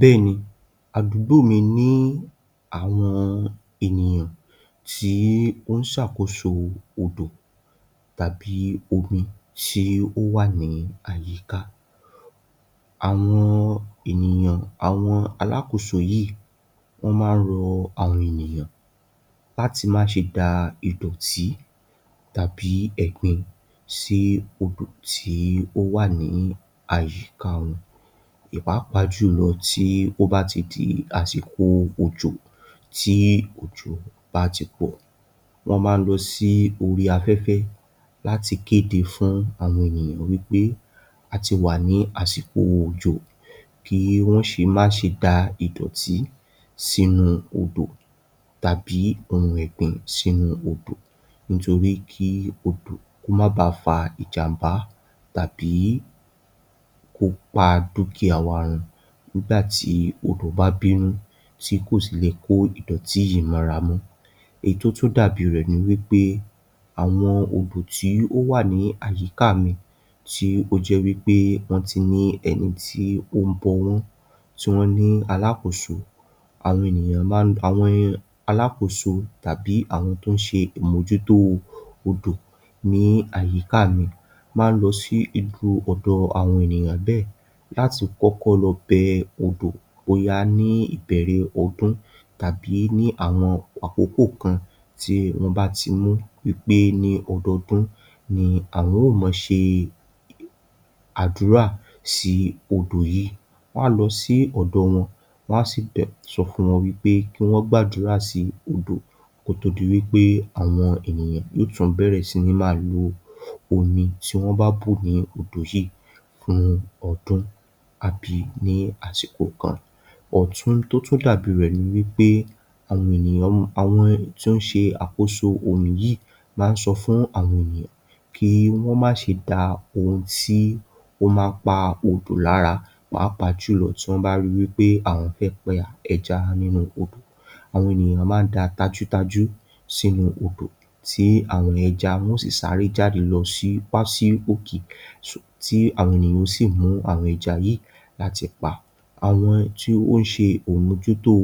Bẹ́ẹ̀ni adúgbò mi ni àwọn ènìyàn tí ó ń ṣ'àkóso odò tàbí omi tí ó wà ní àyíká. Àwọn ènìyàn-- àwọn alákóso yìí wọ́n máa rọ àwọn ènìyàn láti má ṣe dá idọ̀tí tàbí ẹ̀gbin sí odò tí ó wà ní àyíká. Pápàjùlọ tí ó bá ti di àsìkò òjò, tí òjò bá ti pọ̀, wọ́n máa lọ sí orí afẹ́fẹ́ láti kédé fún àwọn ènìyàn wípé a ti wà ní àsìkò òjò, kí wọ́n má ṣe dá idọ̀tí sínú odò tàbí ohun ẹ̀gbin sínú odò nítorí kí odò kó má bà fa ìjàbá tàbí kó pa dukia wá run. Nígbà tí odò bá bínú tí kò sì lè kó idọ̀tí yìí mọ́ra mọ. Ẹyí tó tún dàbí rẹ̀ ni pé àwọn odò tí ó wà ní àyíká mi tí ó jẹ́ wípé wọ́n ti ní ẹni tí ó ń bó wọn tí wọ́n ní alákóso. Àwọn ènìyàn máa ń wá alákóso tàbí àwọn tí ó ń ṣe mojú-ọ̀dò ní àyíká mi, máa ń lọ sí irú ọ̀dọ̀ àwọn ènìyàn bẹ́ẹ̀ láti kọ́kọ́ lọ bẹ odò bóyá ní ìbẹ̀rẹ̀ ọdún tàbí ní àwọn àkókò kan tí wọ́n bá ti mú wípé ní ọdún dun ni wọ́n ó máa ṣe àdúrà sí odò yìí. Wọ́n á lọ sí ọ̀dọ̀ wọn, wọ́n á sì dé sọ fún wọn wípé kí wọ́n gbàdúrà sí odò, kó tó di wípé àwọn ènìyàn yóò tún bẹ̀rẹ̀ sí ńi máa lò omi tí wọ́n bá bú ní odò yìí fún ọdún àbí ní àsìkò kan. Òtún tó tún dàbí rẹ̀ ni wípé àwọn tí ó ń ṣe àkóso omi yìí máa ń sọ fún àwọn ènìyàn kí wọ́n má ṣe dá ohun tí ó máa pa odò lára pápàjùlọ tí wọ́n bá rí wípé àwọn fẹ́ pa ẹja nínú omi, àwọn ènìyàn máa dá tàjútàjù sínú odò tí àwọn ẹja wọ́n á sì sáré jáde wá sí òkè tí àwọn ènìyàn ó sì mú àwọn ẹja yìí láti pa. Àwọn tí ó ṣe amójútó